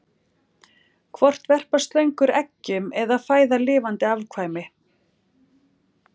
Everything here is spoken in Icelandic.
hvort verpa slöngur eggjum eða fæða lifandi afkvæmi